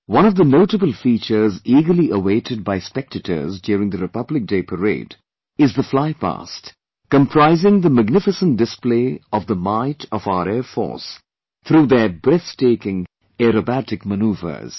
One of the notable features eagerly awaited by spectators during the Republic Day Parade is the Flypast comprising the magnificent display of the might of our Air Force through their breath taking aerobatic manoeuvres